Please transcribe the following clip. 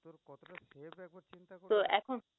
তো এখন